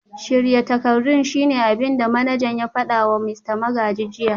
Shirya takardun shine abin da manajan ya fada wa Mista Magaji jiya